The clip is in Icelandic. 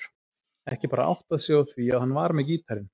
Ekki bara áttað sig á því að hann var með gítarinn.